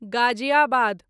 Ghaziabad